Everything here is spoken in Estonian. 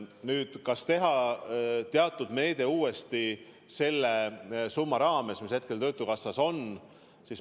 Nüüd, kas teha see meede uuesti selle summa piires, mis hetkel töötukassas on?